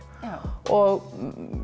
og